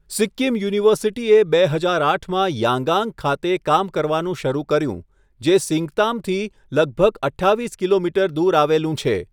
સિક્કિમ યુનિવર્સિટીએ બે હજાર આઠમાં યાંગાંગ ખાતે કામ કરવાનું શરૂ કર્યું, જે સિંગતામથી લગભગ અઠ્ઠાવીસ કિલોમીટર દૂર આવેલું છે.